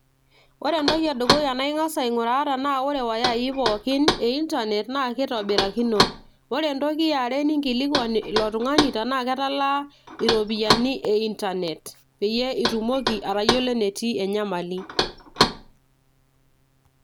ore entoki edukuya nang'as ai ng'uraa iwayai pooki e internet naa kitobirakino, ore entoki eyare ninkilikuan ilo tung'ani tenaa keta laa iropiyiani e internet peyie itumoki atayiolo enetii enyamali.